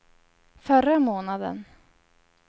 förra månaden